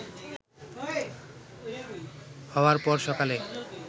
হওয়ার পর সকালে